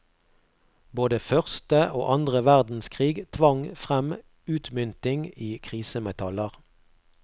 Både første og andre verdenskrig tvang frem utmynting i krisemetaller.